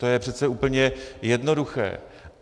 To je přece úplně jednoduché.